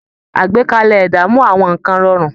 Àgbékalẹ̀ ẹ̀dá mú àwọn nǹkan rọrùn